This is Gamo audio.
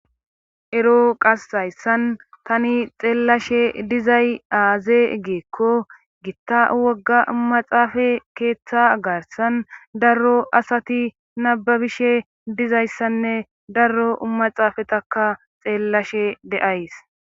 Ero qas hayssan tani xeellashe dizay aaze giikko gitta wogga maxaafe keetha garssan daro asati nabbabishe dizayssanne daro maxaafetakka xeellashe de7ays.